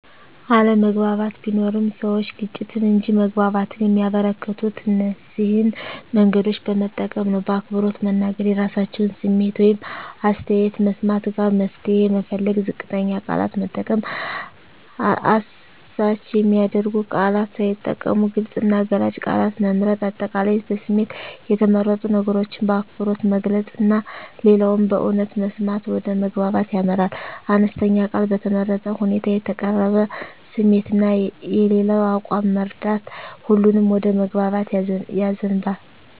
አለመግባባት ቢኖርም፣ ሰዎች ግጭትን እንጂ መግባባትን የሚያበረከቱት እነዚህን መንገዶች በመጠቀም ነው በአክብሮት መናገር – የራሳቸውን ስሜት ወይም አስተያየት መስማት ጋራ መፍትሄ መፈለግ ዝቅተኛ ቃላት መጠቀም – አሳች የሚያደርጉ ቃላት ሳይጠቀሙ ግልጽ እና ገላጭ ቃላት መምረጥ። አጠቃላይ በስሜት የተመረጡ ነገሮችን በአክብሮት መግለጽ እና ሌላውን በእውነት መስማት ወደ መግባባት ያመራል። አነስተኛ ቃል በተመረጠ ሁኔታ የተቀረበ ስሜት እና የሌላው አቋም መረዳት ሁሉንም ወደ መግባባት ያዘንባል።